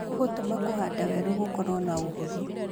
Gũgũtũma kũhanda weru gũkorwo na ũhũthũ